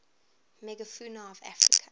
megafauna of africa